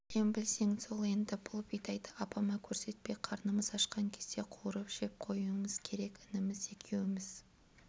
білем білсең сол енді бұл бидайды апама көрсетпей қарнымыз ашқан кезде қуырып жеп қоюымыз керек ініміз екеуміз